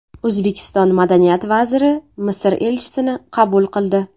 O‘zbekiston madaniyat vaziri Misr elchisini qabul qildi.